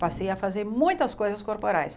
Passei a fazer muitas coisas corporais.